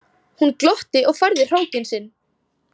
Hún glotti og færði hrókinn sinn.